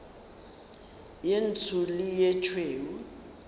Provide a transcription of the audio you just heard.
ye ntsho le ye tšhweu